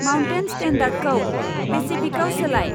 Mountain स्टेन्डार्डखौ पेसिफिकआव सोलाय?